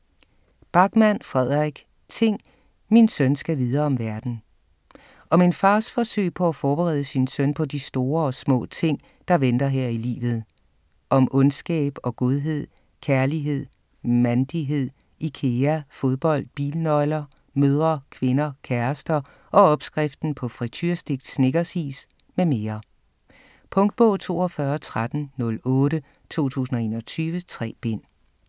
Backman, Fredrik: Ting, min søn skal vide om verden Om en fars forsøg på at forberede sin søn på de store og små ting, der venter her i livet - om ondskab og godhed, kærlighed, mand(l)ighed, Ikea, fodbold, bilnøgler, mødre, kvinder, kærester og opskriften på friturestegt Snickers-is m.m. Punktbog 421308 2021. 3 bind.